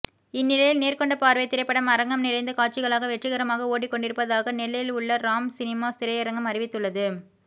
இந்நிலையில் நேர்கொண்ட பார்வை திரைப்படம் அரங்கம் நிறைந்த காட்சிகளாக வெற்றிகரமாக ஓடிக்கொண்டிருப்பதாக நெல்லையில் உள்ள ராம் சினிமாஸ் திரையரங்கம் அறிவித்துள்ளது